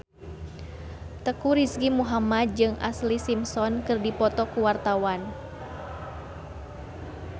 Teuku Rizky Muhammad jeung Ashlee Simpson keur dipoto ku wartawan